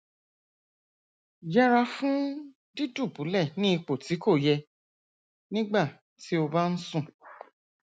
yẹra fún dídùbúlẹ ní ipò tí kò yẹ nígbà tí o bá ń sùn